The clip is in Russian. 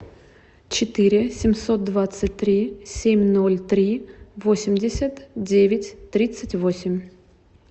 четыре семьсот двадцать три семь ноль три восемьдесят девять тридцать восемь